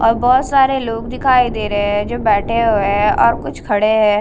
और बहुत सारे लोग दिखाई दे रहे है जो बैठे हुए है और कुछ खड़े है।